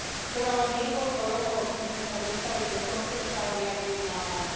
Trvalo niekoľko rokov, kým sme sa dostali do tohto štádia vyjednávania.